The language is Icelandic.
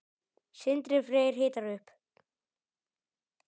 Sindri Freyr hitar upp.